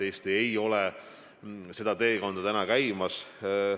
Eesti ei ole sellele teele veel jõudnud.